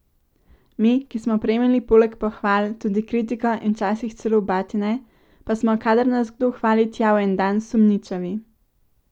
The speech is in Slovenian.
Mi, ki smo prejemali poleg pohval tudi kritiko in včasih celo batine, pa smo, kadar nas kdo hvali tjavendan, sumničavi.